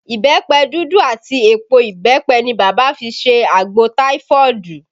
Ìbẹ́pẹ dúdú àti èpò ìbẹ́pẹ ni bàbá fi ṣe àgbò taifoodu